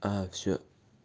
аа все